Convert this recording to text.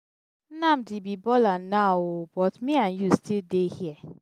nnamdi be baller now ooo but me and you still dey here.